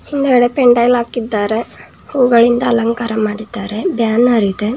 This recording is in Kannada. ಹಿಂದಗಡೆ ಪೆಂಡಾಲ್ ಹಾಕಿದ್ದಾರೆ ಹೂಗಳಿಂದ ಅಲಂಕಾರ ಮಾಡಿದ್ದಾರೆ ಬ್ಯಾನರ್ ಇದೆ.